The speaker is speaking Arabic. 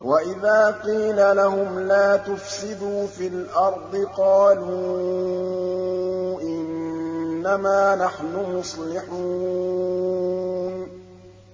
وَإِذَا قِيلَ لَهُمْ لَا تُفْسِدُوا فِي الْأَرْضِ قَالُوا إِنَّمَا نَحْنُ مُصْلِحُونَ